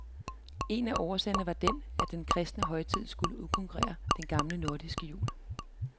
En af årsagerne var den, at den kristne højtid skulle udkonkurrere den gamle nordiske jul.